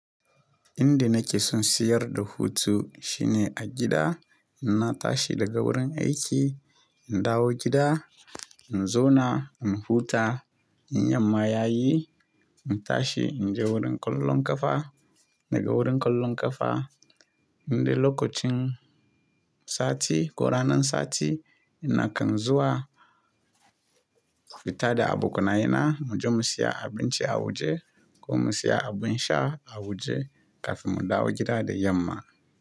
Inda nake son siyar da hutu shine a gida. Na tashi daga wurin aiki, in dawo gida, in zauna, in huta, in yamma yayi, in tashi in je wurin kallon ƙafa. Daga wurin kallon ƙafa, indai lokacin sati ko ranan sati ina kan zuwa fita da abokanai na muje mu siya abinci a waje ko mu siya abin sha a waje kafin mu dawo gida da yamma.